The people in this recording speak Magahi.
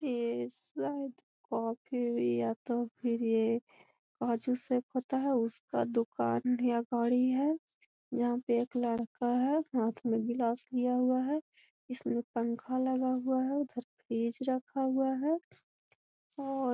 ये शायद कॉफी या तो फिर ये काजू शेक होता है उसका दूकान है या गाड़ी है यहाँ पे एक लड़का है हाथ में गिलास लिया हुआ है इसमें पंखा लगा हुआ है उधर फ्रिज रखा हुआ है और --